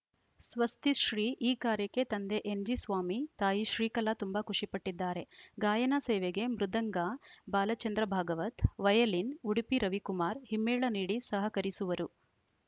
ಸ್ವಸ್ತಿಶ್ರೀ ಈ ಕಾರ್ಯಕ್ಕೆ ತಂದೆ ಎನ್‌ಜಿ ಸ್ವಾಮಿ ತಾಯಿ ಶ್ರೀಕಲಾ ತುಂಬಾ ಖುಷಿಪಟ್ಟಿದ್ದಾರೆ ಗಾಯನ ಸೇವೆಗೆ ಮೃದಂಗ ಬಾಲಚಂದ್ರಭಾಗವತ್‌ ವಯಲಿನ್‌ ಉಡುಪಿ ರವಿಕುಮಾರ್‌ ಹಿಮ್ಮೇಳ ನೀಡಿ ಸಹಕರಿಸುವರು